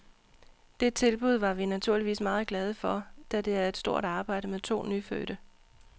Det tilbud var vi naturligvis meget glade for, da det er et stort arbejde med to nyfødte.